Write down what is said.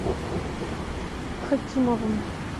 хакимовым